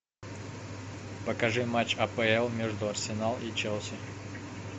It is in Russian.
покажи матч апл между арсенал и челси